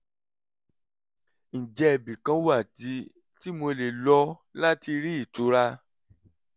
ǹjẹ́ ibì kan wà tí tí mo lè lọ láti rí ìtura?